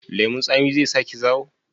Lemun tsami zai sa ki zawo?